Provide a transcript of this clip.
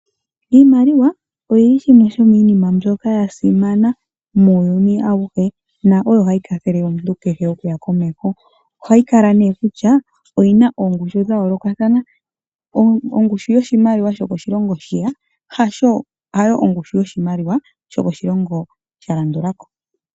Iimaliwa oyo yimwe yomiinima mbyoka yasimana muuyuni awuhe, na oyo hayi kwathele omuntu kehe okuya komeho. Ohayi kala nee kusha oyina oongushu dhayoolokathana. Ongushu yoshimaliwa shoko shilongo shiya, hayo ongushu yoshimaliwa shoko shilongo shalandulako.